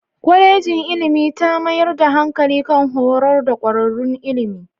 Kwalejin ilimi ta mayar da hankali kan horar da kwararrun ilimi